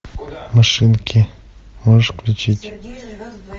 машинки можешь включить